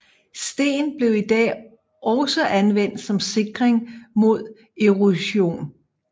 Sten bliver i dag også anvendt som sikring mod erosion